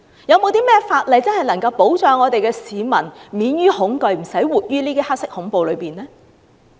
有甚麼法例能真正保障市民免於恐懼，不用活在"黑色恐怖"之下？